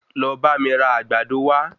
Lọ bá mi ra Àgbàdo wa